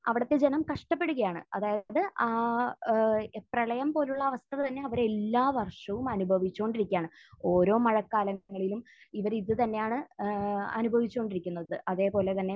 അവിടുത്തെ ജനം കഷ്ടപ്പെടുകയാണ്. അതായത്, ആ ഏഹ് പ്രളയം പോലുള്ള അവസ്ഥ തന്നെ അവർ എല്ലാ വർഷവും അനുഭവിച്ചുകൊണ്ടിരിക്കുകയാണ്. ഓരോ മഴക്കാലങ്ങളിലും ഇവർ ഇത് തന്നെയാണ് ഏഹ് അനുഭവിച്ചുകൊണ്ടിരിക്കുന്നത്. അതേ പോലെ തന്നെ